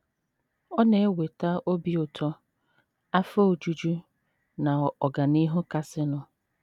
Ọ na - eweta obi ụtọ, afọ ojuju, na ọganihu kasịnụ.